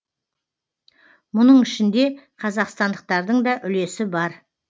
мұның ішінде қазақстандықтардың да үлесі бар